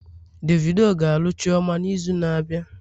Davido ga-alụ chioma n'izu na-abịa